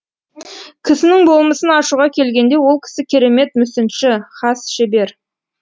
кісінің болмысын ашуға келгенде ол кісі керемет мүсінші хас шебер